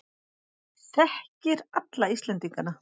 Þekkir alla Íslendingana.